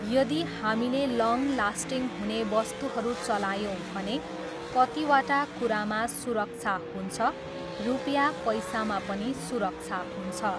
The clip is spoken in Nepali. यदि हामीले लङ लास्टिङ हुने वस्तुहरू चलायौँ भने कतिवटा कुरामा सुरक्षा हुन्छ, रुपियाँ पैसामा पनि सुरक्षा हुन्छ।